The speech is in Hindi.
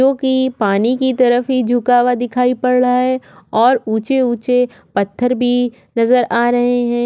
जोकि पानी की तरफ ही झुका हुआ दिखाई पड़ रहा है और उच्चे उच्चें पत्थर भी नज़र आ रहे है।